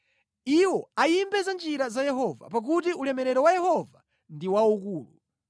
Iwo ayimbe za njira za Yehova, pakuti ulemerero wa Yehova ndi waukulu.